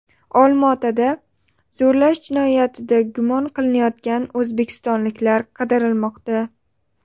Olmaotada zo‘rlash jinoyatida gumon qilinayotgan o‘zbekistonlik qidirilmoqda.